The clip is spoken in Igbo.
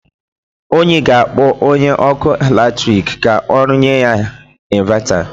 Onyi ga-akpọ onye ọkụ latrik ka rụnyere ya invata.